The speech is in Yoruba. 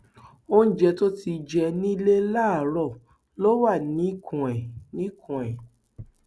oúnjẹ tó ti jẹ nílẹ láàárọ ló wà níkùn ẹ níkùn ẹ